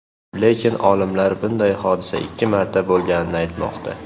Lekin olimlar bunday hodisa ikki marta bo‘lganini aytmoqda.